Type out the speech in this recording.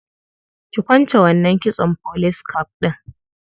Ki kwance wannan kitson police cap ɗin.